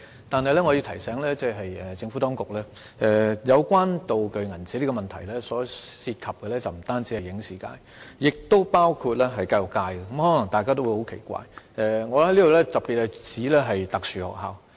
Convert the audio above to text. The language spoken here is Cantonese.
但是，我要提醒政府當局，有關"道具鈔票"的問題，涉及的不僅影視界，也包括教育界，可能大家會感到十分奇怪，我特別是指特殊學校。